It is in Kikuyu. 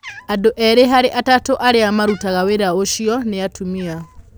Andũ erĩ harĩ atatũ arĩa marutaga wĩra ũcio nĩ atumia.